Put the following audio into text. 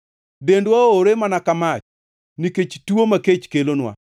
Dendwa owre mana ka mach nikech tuo ma kech kelonwa.